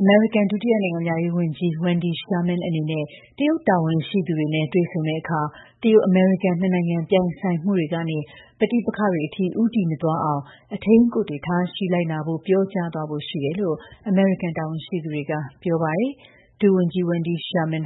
အမေရိကန် ဒုတိယနိုင်ငံခြားရေးဝန်ကြီး Wendy Sherman အနေနဲ့ တရုတ်တာဝန်ရှိသူတွေနဲ့ တွေ့ဆုံတဲ့အခါ တရုတ်-အမေရိကန် နှစ်နိုင်ငံ ပြိုင်ဆိုင်မှုတွေကနေ ပဋိပက္ခတွေအထိ ဦးတည်မသွားအောင် အထိန်းအကွပ်တွေ ထားရှိလိုက်နာဖို့ ပြောကြားသွားဖို့ ရှိတယ်လို့ အမေရိကန် တာဝန်ရှိသူတွေက ပြောပါတယ်။ ဒုဝန်ကြီး Wendy Sherman